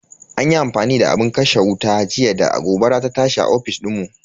An yi amfani da abin kashe wuta jiya da gobara ta tashi a ofis dinmu.